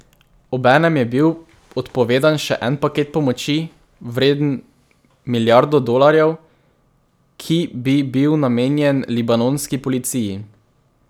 Obenem je bil odpovedan še en paket pomoči, vreden milijardo dolarjev, ki bi bil namenjen libanonski policiji.